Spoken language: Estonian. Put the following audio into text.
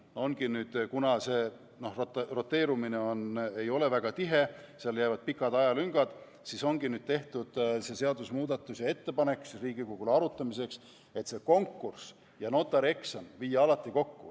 Kuna roteerumine ei ole väga tihe, seal jäävad pikad ajalüngad, siis ongi tehtud Riigikogule arutamiseks seadusemuudatuse ettepanek viia konkurss ja notarieksam alati kokku.